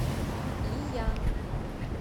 иян